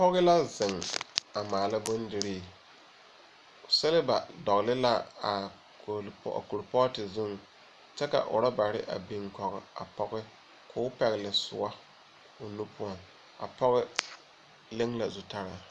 Pɔge la zeŋ a maala bondiri. Seleba dɔɔle la a kolpɔ... a kolpɔɔte zuŋ kyɛ ka orɔbare a biŋ kɔge a pɔge k'o pɛgele soɔ o nu poɔŋ. A pɔge leŋ la zutara.